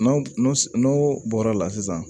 N'o n'o bɔra la sisan